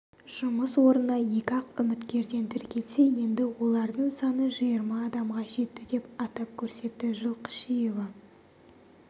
жұмыс орнына екі-ақ үміткерден тіркелсе енді олардың саны жиырма адамға жетті деп атап көрсетті жылқышиева